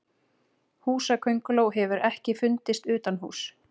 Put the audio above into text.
Húsakönguló hefur ekki fundist utanhúss.